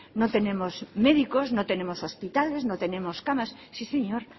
no tenemos médicos no tenemos hospitales no tenemos camas sí señor